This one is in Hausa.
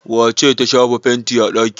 Wace ce ta shafa fenti a ɗaki?